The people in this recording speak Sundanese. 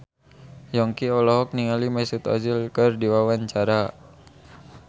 Yongki olohok ningali Mesut Ozil keur diwawancara